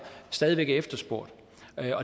stadig væk er efterspurgt